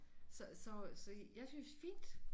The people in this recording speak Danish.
Så så så jeg synes fint